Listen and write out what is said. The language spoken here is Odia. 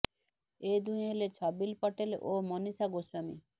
ଏ ଦୁହେଁ ହେଲେ ଛବିଲ ପଟେଲ ଓ ମନୀଷା ଗୋସ୍ୱାମୀ